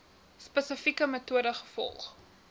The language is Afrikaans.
spesifieke metode gevolg